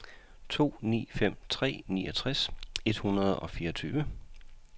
to ni fem tre niogtres et hundrede og fireogtyve